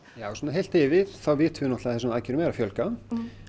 já svona heilt yfir þá vitum við að þessum aðgerðum er að fjölga